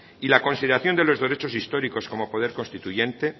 y la consideración de los derechos históricos como poder constituyente